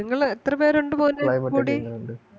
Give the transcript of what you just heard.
നിങ്ങള് എത്ര പേരോണ്ട് മോനെ മുടി